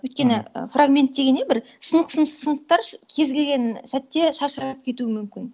өйткені фрагмент деген не бір сынық сынық сынықтар кез келген сәтте шашырап кетуі мүмкін